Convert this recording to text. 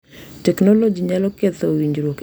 Teknoloji nyalo ketho winjruok e kind joot